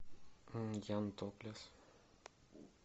ян топлес